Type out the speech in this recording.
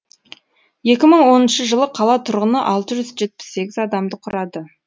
екі мың оныншы жылы қала тұрғыны алты жүз жетпіс сегіз адамды құрады